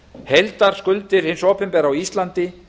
heildarskuldir hins opinbera á íslandi